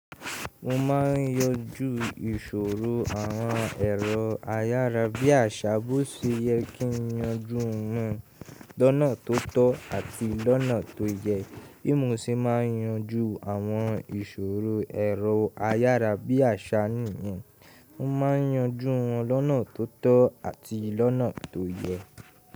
Mo ma ń yanjù ìṣòro àwọn ẹ̀rọ ayára bí i àṣà bó ṣe yẹ kí ń yanjù wọn lọ́nà tó tọ́ àti lọ́nà tó yẹ. Bí mo ṣe máa ń yanjù àwọn ìṣòro ẹ̀rọ ayára bí i àṣà nìyẹn, mo máa ń yanjù wọn lọ́nà tó tọ́ àti lọ́nà tó yẹ.